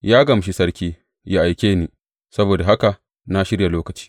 Ya gamshi sarki ya aike ni; saboda haka na shirya lokaci.